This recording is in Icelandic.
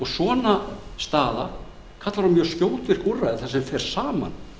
svona staða kallar á mjög skjótvirk úrræði þar sem fara saman